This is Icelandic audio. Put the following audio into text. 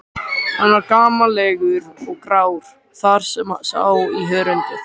Hann var gamallegur og grár þar sem sá í hörundið.